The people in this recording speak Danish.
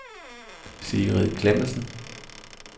Sigrid Klemmensen